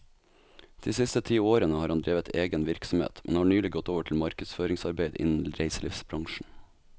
De siste ti årene har han drevet egen virksomhet, men har nylig gått over til markedsføringsarbeid innen reiselivsbransjen.